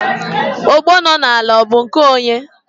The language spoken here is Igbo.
ogbo nọ n'ala ọ bụ nke onye?